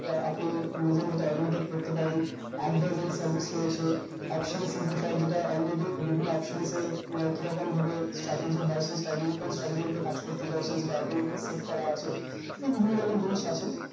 বা আপনি নিজের মতন automatic করতে পারেন advorgiri service রয়েছে যেইটা already বিভিন্ন option এ কিরকমভাবে strategy হয় সেই strategy করে strategy ওপর কাজ করতে চাই সেইটা automatic ফিট করা আছে এই বিভিন্ন রকম জিনিস আছে